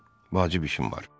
Vacib işim var.